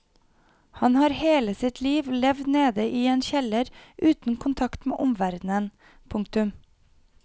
Han har hele sitt liv levd nede i en kjeller uten kontakt med omverdenen. punktum